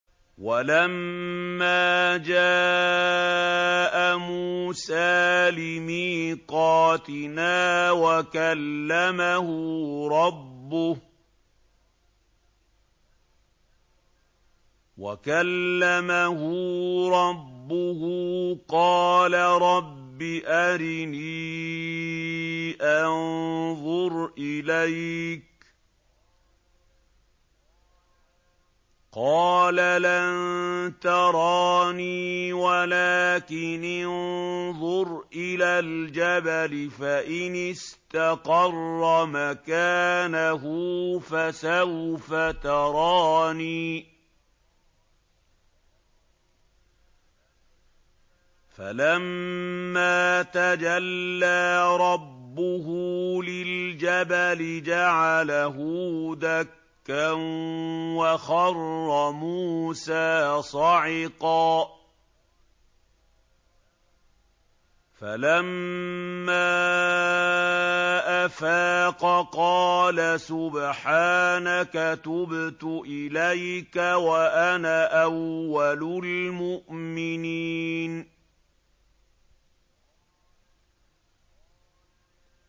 وَلَمَّا جَاءَ مُوسَىٰ لِمِيقَاتِنَا وَكَلَّمَهُ رَبُّهُ قَالَ رَبِّ أَرِنِي أَنظُرْ إِلَيْكَ ۚ قَالَ لَن تَرَانِي وَلَٰكِنِ انظُرْ إِلَى الْجَبَلِ فَإِنِ اسْتَقَرَّ مَكَانَهُ فَسَوْفَ تَرَانِي ۚ فَلَمَّا تَجَلَّىٰ رَبُّهُ لِلْجَبَلِ جَعَلَهُ دَكًّا وَخَرَّ مُوسَىٰ صَعِقًا ۚ فَلَمَّا أَفَاقَ قَالَ سُبْحَانَكَ تُبْتُ إِلَيْكَ وَأَنَا أَوَّلُ الْمُؤْمِنِينَ